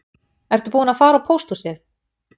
Ertu búinn að fara á pósthúsið